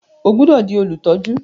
O gbódò dì Olutọju!